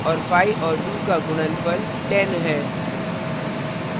5 और 2 का गुणनफल 1000 है